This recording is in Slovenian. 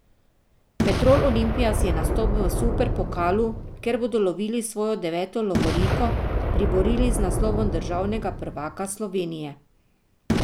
Petrol Olimpija si je nastop v superpokalu, kjer bodo lovilo svojo deveto lovoriko, priborili z naslovom državnega prvaka Slovenije.